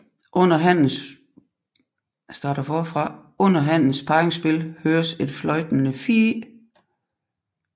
Under hannens parringsspil høres et fløjtende fiih